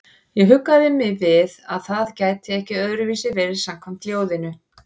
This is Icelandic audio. Ég huggaði mig við að það gæti ekki öðruvísi verið samkvæmt ljóðinu.